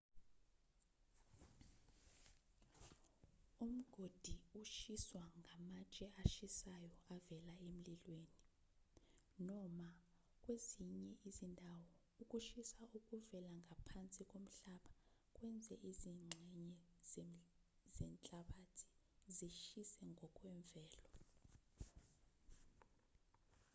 umgodi ushiswa ngamatshe ashisayo avela emlilweni noma kwezinye izindawo ukushisa okuvela ngaphansi komhlaba kwenze izingxenye zenhlabathi zishise ngokwemvelo